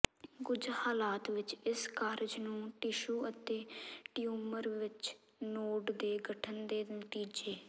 ਕੁਝ ਹਾਲਾਤ ਵਿੱਚ ਇਸ ਕਾਰਜ ਨੂੰ ਟਿਸ਼ੂ ਅਤੇ ਟਿਊਮਰ ਵਿੱਚ ਨੋਡ ਦੇ ਗਠਨ ਦੇ ਨਤੀਜੇ